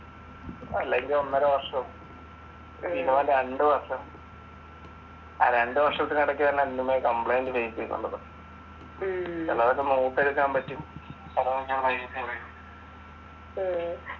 അല്ലെങ്കിൽ ഒന്നര വർഷമ പിന്നെ രണ്ടു വര്‍ഷം രണ്ടു വർഷത്തിന് ഇടക്ക്